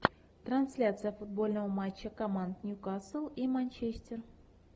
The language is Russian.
трансляция футбольного матча команд ньюкасл и манчестер